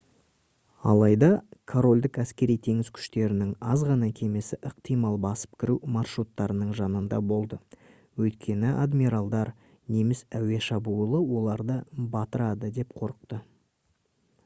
алайда корольдік әскери-теңіз күштерінің аз ғана кемесі ықтимал басып кіру маршруттарының жанында болды өйткені адмиралдар неміс әуе шабуылы оларды батырады деп қорықты